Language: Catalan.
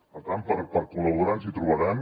per tant per col·laborar ens hi trobaran